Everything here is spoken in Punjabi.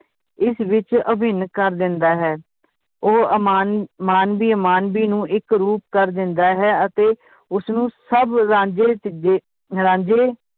ਇਸ ਵਿਚ ਅਭਿੰਨ ਕਰ ਦਿੰਦਾ ਹੈ ਉਹ ਅਮਾਨ~ ਮਾਨਵੀ ਅਮਾਨਵੀ ਨੂੰ ਇੱਕ ਰੂਪ ਕਰ ਦਿੰਦਾ ਹੈ ਅਤੇ ਉਸਨੂੰ ਸਬ ਰਾਂਝੇ ਜੇ~ ਰਾਂਝੇ